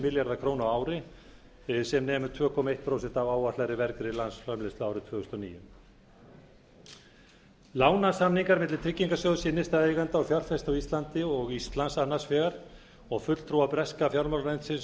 milljarða króna á ári sem nemur tveimur komma eitt prósent af áætlaðri vergri landsframleiðslu árið tvö þúsund og níu lánasamningar milli tryggingarsjóðs innstæðueigenda og fjárfesta á íslandi og íslands annars vegar og fulltrúa breska fjármálaráðuneytisins